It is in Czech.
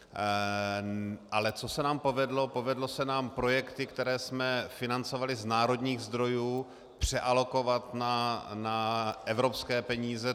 Ale co se nám povedlo, povedly se nám projekty, které jsme financovali z národních zdrojů, přealokovat na evropské peníze.